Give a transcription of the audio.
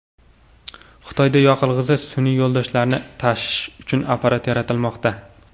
Xitoyda yoqilg‘isiz sun’iy yo‘ldoshlarni tashish uchun apparat yaratilmoqda.